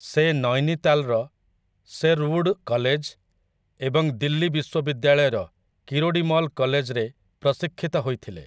ସେ ନୈନୀତାଲ୍‌ର 'Sherwood college' ଏବଂ ଦିଲ୍ଲୀ ବିଶ୍ୱବିଦ୍ୟାଳୟର କିରୋଡ଼ୀମଲ କଲେଜ୍‌ରେ ପ୍ରଶିକ୍ଷିତ ହୋଇଥିଲେ ।